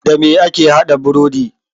Dame ake haɗa burodi?